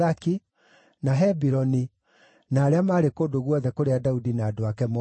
na Hebironi; na arĩa maarĩ kũndũ guothe kũrĩa Daudi na andũ ake moorũũrĩte.